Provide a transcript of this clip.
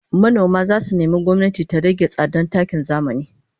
Manoma zasu nemi gwamnati ta rage tsadan takin zamani